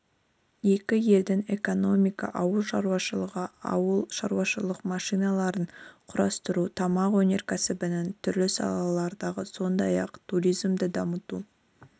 екі елдің экономика ауыл шаруашылығы ауылшаруашылық машиналарын құрастыру тамақ өнеркәсібінің түрлі салаларындағы сондай-ақ туризмді дамыту